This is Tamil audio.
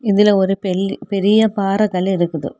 இதுல ஒரு பெல் பெரிய பாறைகல்லு இருக்குது.